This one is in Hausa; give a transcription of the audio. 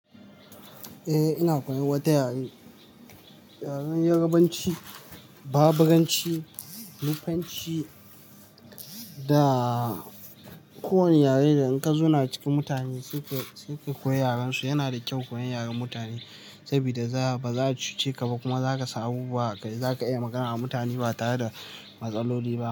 Eh ina koyan wata yare, yaren yarbanci, baburanci, nufanci da ko wane yare da in ka zauna cikin mutane suke, suke koyan yarensu. Yana da kyau koyan yaren mutane saboda za, ba za a cuce ka ba kuma za ka san wasu abubuwa a kai, za ka iya magana da mutane ba tare da matsaloli ba.